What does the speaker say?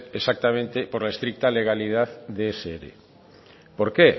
exactamente por la estricta legalidad de ese ere por qué